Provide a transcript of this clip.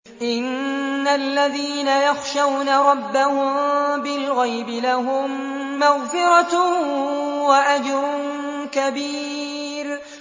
إِنَّ الَّذِينَ يَخْشَوْنَ رَبَّهُم بِالْغَيْبِ لَهُم مَّغْفِرَةٌ وَأَجْرٌ كَبِيرٌ